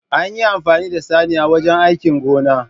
An yi amfani da saniya wajen aikin gona